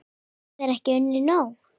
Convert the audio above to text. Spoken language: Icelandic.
Hafa þeir ekki unnið nóg?